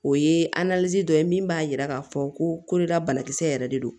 O ye dɔ ye min b'a yira k'a fɔ ko ko dɔ da bana kisɛ yɛrɛ de don